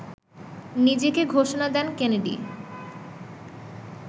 নিজেকে ঘোষণা দেন কেনেডি